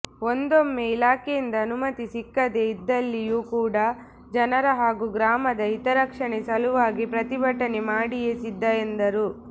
ಒಂದೊಮ್ಮೆ ಇಲಾಖೆಯಿಂದ ಅನುಮತಿ ಸಿಕ್ಕದೆ ಇದ್ದಲ್ಲಿಯೂ ಕೂಡ ಜನರ ಹಾಗೂ ಗ್ರಾಮದ ಹಿತರಕ್ಷಣೆ ಸಲುವಾಗಿ ಪ್ರತಿಭಟನೆ ಮಾಡಿಯೇ ಸಿದ್ಧ ಎಂದರು